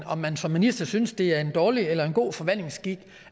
om man som minister synes det er dårlig eller god forvaltningsskik